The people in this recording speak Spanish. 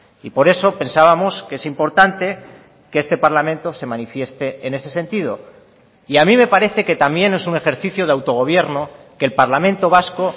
y por eso pensábamos que es importante que este parlamento se manifieste en ese sentido y a mí me parece que también es un ejercicio de autogobierno que el parlamento vasco